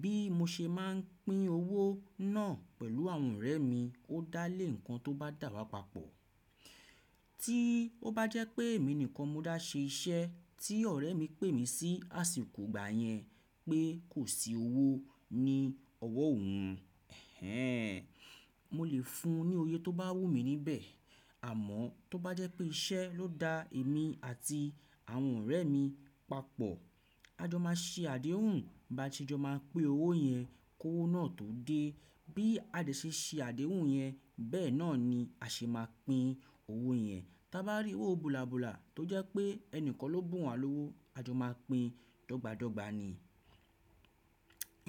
Bí mo ṣe máà ń pín owó náà pẹ̀lú àwọn ọ̀rẹ́ mi ó dá lé ǹkan tó bá dàwà papọ̀. Tí ó bá jẹ́ pé èmi nìkan mo dá ṣe iṣẹ́ tí ọ̀rẹ́ mi pè mí sí àsìkò ìgbà yẹn pé kò sí owó ní ọwọ́ òhun, ẹhn, mo lè fun ní òye tó bá wù mí níbẹ̀. Àmọ́ tó bá jẹ́ pé iṣẹ́ ló da èmi àti àwọn ọ̀rẹ́ mi papọ̀, a jọ máa ṣe àdéhùn bá ti jọ máa pín owó yẹn, kówó náà tó dé. Bí a ṣe ṣe àdéhùn yẹn bẹ́ẹ̀ náà ni a ṣe máa pín owó yẹn. Tá bá rí owó bùlàbùlà tó jẹ́ pé ẹni kan ló bùn wa lówó, a jọ máa pín dọ́gba dọ́gba ni.